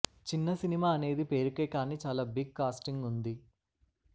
చిన్న సినిమా అనేది పేరుకే కానీ చాలా బిగ్ కాస్టింగ్ ఉంది